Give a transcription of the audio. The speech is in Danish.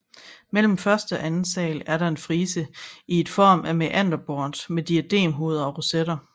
Mellem første og anden sal er der en frise i form af en mæanderbort med diademhoveder og rosetter